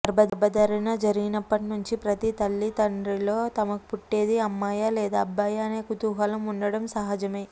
గర్భధారణ జరిగినప్పటి నుంచి ప్రతి తల్లి తండ్రిలో తమకు పుట్టేది అమ్మాయా లేదా అబ్బాయా అనే కుతుహులం ఉండటం సహజమే